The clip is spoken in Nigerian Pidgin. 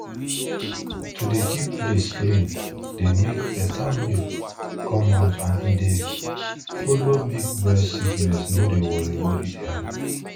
to dey keep place clean dey make better milk come out and e dey follow make breast sickness no dey worry worry di animal